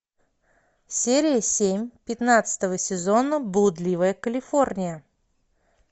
серия семь пятнадцатого сезона блудливая калифорния